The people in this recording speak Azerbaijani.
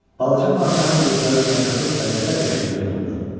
Balaca padşahın gözləri utanclıq və qəzəb yaşı ilə doldu.